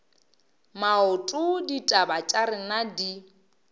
maoto ditaba tša rena di